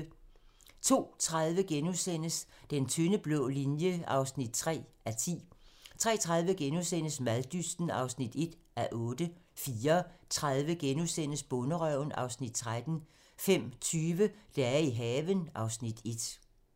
02:30: Den tynde blå linje (3:10)* 03:30: Maddysten (1:8)* 04:30: Bonderøven (Afs. 13)* 05:20: Dage i haven (Afs. 1)